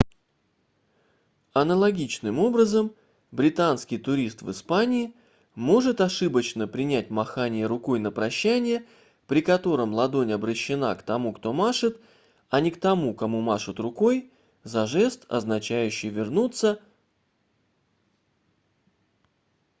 аналогичным образом британский турист в испании может ошибочно принять махание рукой на прощание при котором ладонь обращена к тому кто машет а не к тому кому машут рукой за жест означающий что его просят вернуться